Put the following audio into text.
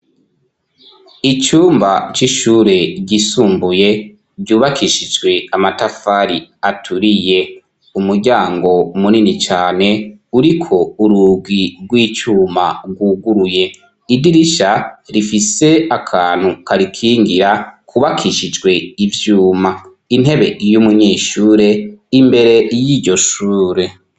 Icumba c'ishuri ryisumbuye ryubakishijwe amatafari aturiye, umuryango munini cane uriko urugi rw'icuma rwuguruye, idirisha rifise akantu karikingira, kubakishijwe ivyuma, intebe y'umunyeshure imbere y'iryo shure.